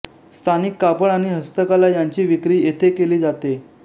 स्थानिक कापड आणि हस्तकला यांची विक्री येथे केली जाते